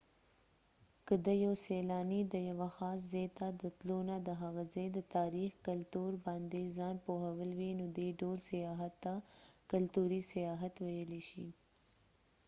که د یو سیلانی د یوه خاص ځای ته د تلو نه د هغه ځای د تاریخ ،کلتور باندي ځان پوهول وي نو دي ډول سیاحت ته کلتوری سیاحت ويلای شي